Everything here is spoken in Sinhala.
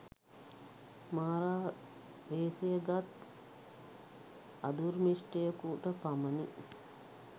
මාරා වේසය ගත් අදුර්මිස්ටයෙකුට පමණි